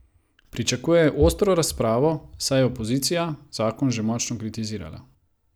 Pričakujejo ostro razpravo, saj je opozicija zakon že močno kritizirala.